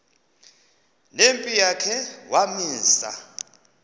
nempi yakhe wamisa